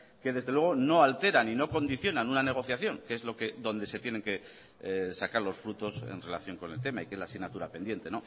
que desde luego no alteran y no condicionan una negociación que es lo que donde se tiene que sacar los frutos en relación con el tema y que es la asignatura pendiente